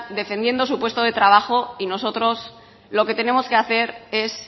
defendiendo su puesto de trabajo y nosotros lo que tenemos que hacer es